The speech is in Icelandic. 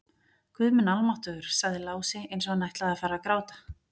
Guð minn almáttugur, sagði Lási eins og hann ætlaði að fara að gráta.